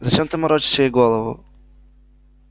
зачем ты морочишь ей голову